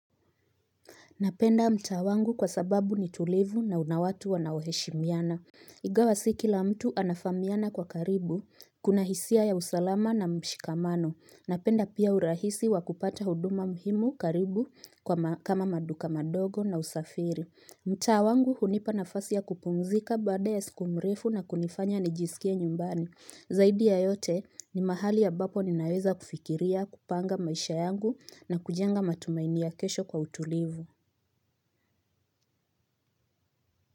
Napenda mtaa wangu kwa sababu ni tulivu na una watu wanaoheshimiana. Ingawa si kila mtu anafamiana kwa karibu, kuna hisia ya usalama na mshikamano. Napenda pia urahisi wa kupata huduma muhimu karibu kama maduka madogo na usafiri. Mtaa wangu hunipa nafasi ya kupumzika baada ya siku mrefu na kunifanya nijisikie nyumbani. Zaidi ya yote ni mahali ambapo ninaweza kufikiria kupanga maisha yangu na kujenga matumaini ya kesho kwa utulivu.